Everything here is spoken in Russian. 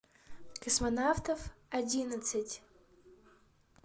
космонавтов одиннадцать